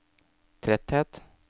tretthet